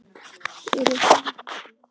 Byrjar hann í kvöld?